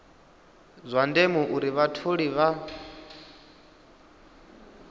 zwa ndeme uri vhatholi vha